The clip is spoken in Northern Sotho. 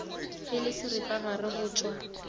e le seripagare go tšwa